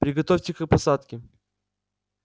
приготовьте к посадке